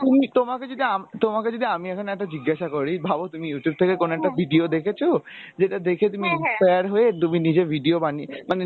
তুমি তোমাকে যদি আমি তোমাকে যদি আমি এখন একটা জিজ্ঞাসা করি ভাবো তুমি Youtube থেকে কোনো একটা video দেখেছো যেটা দেখে তুমি inspire হয়ে তুমি নিজের video বানিয়ে মানে